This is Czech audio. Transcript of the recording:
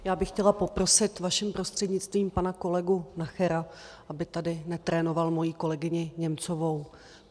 Já bych chtěla poprosit vaším prostřednictvím pana kolegu Nachera, aby tady netrénoval moji kolegyni Němcovou.